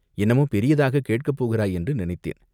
என்னமோ பெரியதாகக் கேட்கப் போகிறாய் என்று நினைத்தேன்.